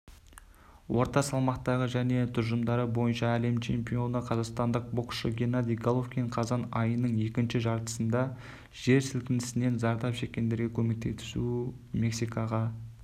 орта салмақтағы және тұжырымдары бойынша әлем чемпионы қазақстандық боксшы геннадий головкин қазан айының екінші жартысында жер сілкінісінен зардап шеккендерге көмектесу мексикаға